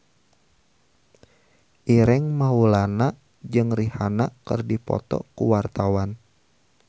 Ireng Maulana jeung Rihanna keur dipoto ku wartawan